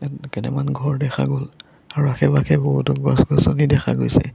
কেটেমান ঘৰ দেখা গ'ল আৰু আশে-পাশে বহুতো গছ-গছনি দেখা গৈছে।